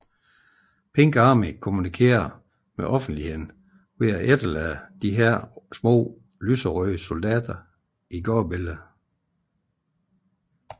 Pink Army kommunikerer med offentligheden ved at efterlade disse små lyserøde soldater i gadebilledet